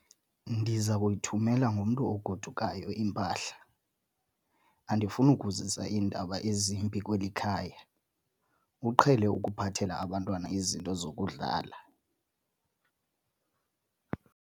Ndiza kuyithumela ngomntu ogodukayo impahla. andifuni ukuzisa iindaba ezimbi kweli khaya, uqhele ukuphathela abantwana izinto zokudlala